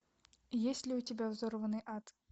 есть ли у тебя взорванный ад